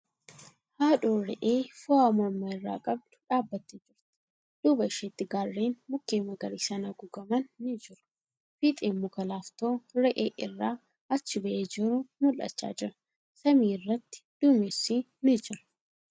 Haadhoon re'ee foo'aa morma irraa qabdu dhaabattee jirti. Duuba isheetti gaarreen mukkeen magariisaan haguugaman ni jiru. Fiixeen muka laaftoo re'ee irrasn achi ba'ee jiru mul'achaa jira. Samii irratti duumessi ni jira.